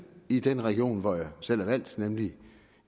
i den region hvor jeg selv er valgt nemlig